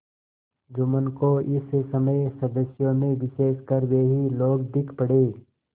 जुम्मन को इस समय सदस्यों में विशेषकर वे ही लोग दीख पड़े